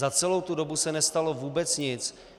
Za celou tu dobu se nestalo vůbec nic.